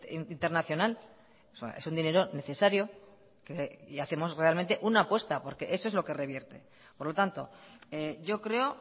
internacional es un dinero necesario y hacemos realmente una apuesta porque eso es lo que revierte por lo tanto yo creo